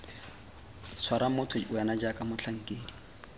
tshwara motho wena jaaka motlhankedi